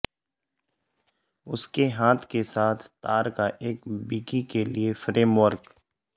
اس کے ہاتھ کے ساتھ تار کا ایک بکی کے لئے فریم ورک